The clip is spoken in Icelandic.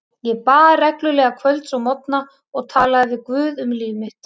Ég bað reglulega kvölds og morgna og talaði við guð um líf mitt.